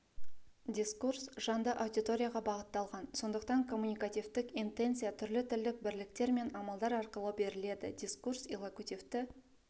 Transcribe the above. дискурс жанды аудиторияға бағытталған сондықтан коммуникативтік интенция түрлі тілдік бірліктер мен амалдар арқылы беріледі дискурс иллокутивті